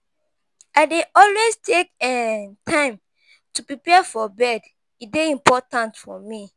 I dey always take um time to prepare for bed; e dey important for me.